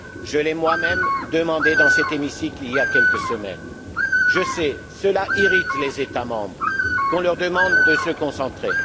Je l'ai moi même demandé dans cet hémicycle il y a quelques semaines. Je sais, cela irrite les États membres qu'on leur demande de se concentrer.